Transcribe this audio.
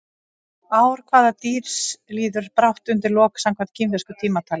Ár hvaða dýrs líður brátt undir lok samkvæmt kínversku tímatali?